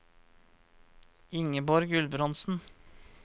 Ingeborg Gulbrandsen